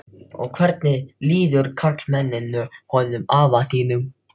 Og hvernig líður karlmenninu honum afa þínum?